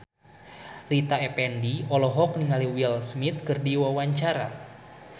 Rita Effendy olohok ningali Will Smith keur diwawancara